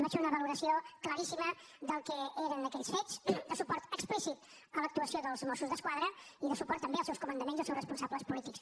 vaig fer una valoració claríssima del que eren aquells fets de suport explícit a l’actuació dels mossos d’esquadra i de suport també als seus comandaments i als seus responsables polítics